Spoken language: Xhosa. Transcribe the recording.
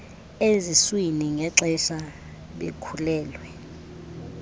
eziswini ngexesha bekhulelwe